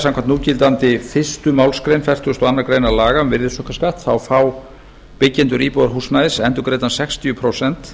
samkvæmt núgildandi fyrstu málsgrein fertugustu og öðrum laga um virðisaukaskatt fá byggjendur íbúðarhúsnæðis endurgreiddan sextíu prósent